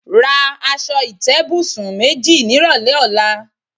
Ra as̩o̩ ìté̩bùsùn méjì nírò̩lé̩ ò̩la.